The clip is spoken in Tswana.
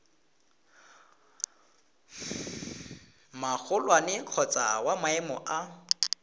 magolwane kgotsa wa maemo a